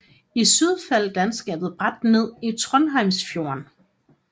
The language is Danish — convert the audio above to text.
I syd falder landskabet brat ned i Trondheimsfjorden